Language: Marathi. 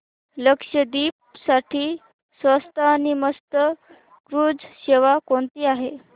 लक्षद्वीप साठी स्वस्त आणि मस्त क्रुझ सेवा कोणती आहे